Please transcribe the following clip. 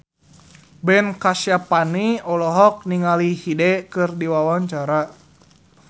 Ben Kasyafani olohok ningali Hyde keur diwawancara